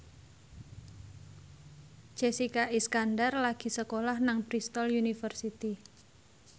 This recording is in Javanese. Jessica Iskandar lagi sekolah nang Bristol university